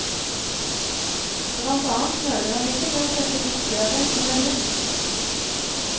Blant annet nøler han ikke med å sette fiskegrateng på menyen.